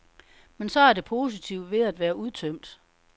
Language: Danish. Men så er det positive ved at være udtømt.